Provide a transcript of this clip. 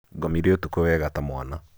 Ngomire ũtukũ wega ta mwana.